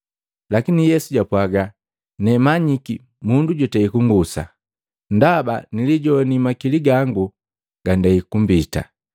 Lakini Yesu japwaga, “Nemanyiki mundu jutei kung'usa, ndaba nilijowani makili gangu gandei kumbita.”